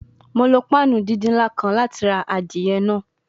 Mo lo panu didin nla kan lati ra adie naa